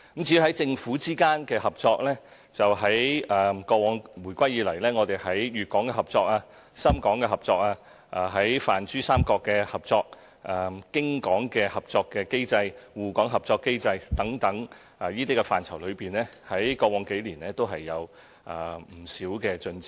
至於政府之間的合作，回歸以來，我們在粵港合作、深港合作、與泛珠三角的合作、京港合作、滬港合作等機制中，過往數年也有不少進展。